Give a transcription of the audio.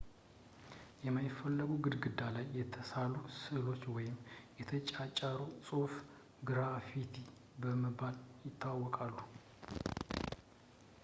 የማይፈለጉ ግድግዳ ላይ የተሳሉ ስእሎች ወይም የተጫጫረ ጽሁፍ ግራፊቲ በመባል ይታወቃሉ